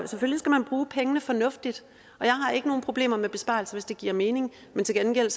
selvfølgelig skal man bruge pengene fornuftigt og jeg har ikke nogen problemer med besparelser hvis det giver mening til gengæld